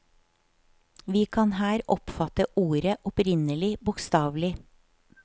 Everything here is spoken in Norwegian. Vi kan her oppfatte ordet opprinnelig bokstavelig.